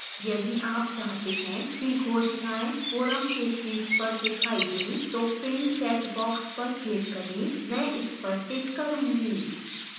यदि आप चाहते हैं कि घोषणाएँ forum के शीर्ष पर दिखाई दें तो pinned checkbox पर click करें मैं इस पर टिक करूंगी